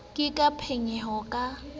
ke ke a phonyoha ke